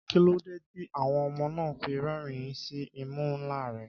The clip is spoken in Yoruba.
Kí ló dé tí àwọn ọmọ náà fi ń rẹ́rìn-ín sí imú ńlá rẹ̀?